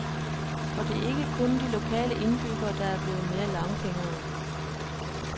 Og det er ikke kun de lokale indbyggere, der er blevet mere langfingrede.